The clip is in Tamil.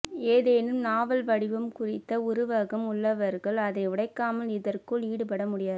ஏதேனும் நாவல் வடிவம் குறித்த உருவகம் உள்ளவர்கள் அதை உடைக்காமல் இதற்குள் ஈடுபட முடியாது